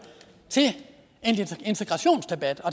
i en integrationsdebat